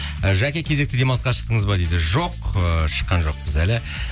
і жәке кезекті демалысқа шықтыңыз ба дейді жоқ ыыы шыққан жоқпыз әлі